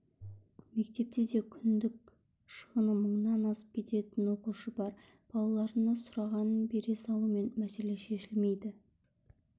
мектепте де күндік шығыны мыңнан асып кететін оқушы бар балаларына сұрағанын бере салумен мәселе шешілмейді